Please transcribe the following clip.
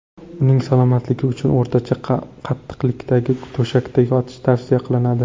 Uning salomatligi uchun o‘rtacha qattiqlikdagi to‘shakda yotish tavsiya qilinadi.